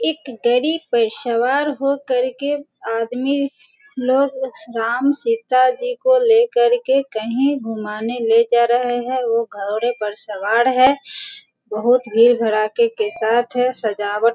एक गड़ी पर सवार हो करके आदमी लोग राम-सीता जी को लेकर के कहीं घुमाने ले जा रहे है वो घोड़े पर सवार है बहुत भीड़-भराके के साथ है सजावट --